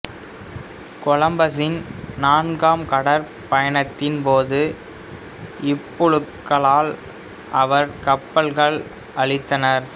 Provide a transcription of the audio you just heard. கொலம்பசின் நான்காம் கடற்பயணத்தின் போது இப்புழுக்களால் அவர் கப்பல்கள் அழிந்தன